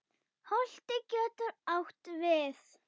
Holtið getur átt við